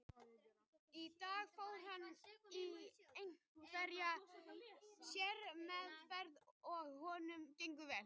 Í dag fór hann í einhverja sérmeðferð og honum gengur vel.